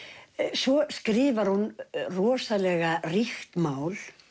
svo skrifar hún rosalega ríkt mál